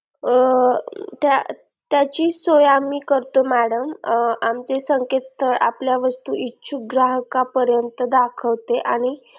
त्याची सोय आम्ही करतो madam आमचे संकेतस्थळ आपल्या वस्तू इच्छुक ग्राहकापर्यंत दाखवते आणि